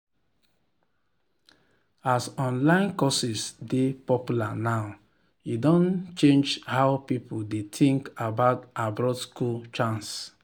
as online courses dey popular now e don change how people dey think about abroad school chance.